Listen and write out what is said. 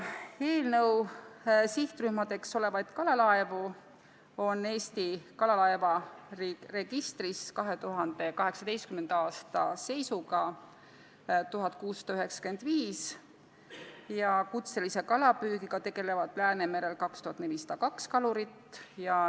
Eelnõu sihtrühma kuuluvaid kalalaevu oli Eesti kalalaevaregistris 2018. aasta seisuga 1695 ja kutselise kalapüügiga tegeleb Läänemerel 2402 kalurit.